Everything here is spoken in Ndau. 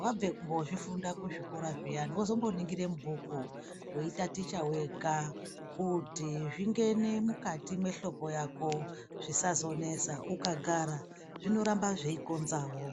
wabve kozvifunda kuzvikora zviyani wozo mboningira mubhuku weitaticha wega kuti zvingene mukati mwehloko yako zvisazonesa. Ukagara zvinoramba zveikonzawo.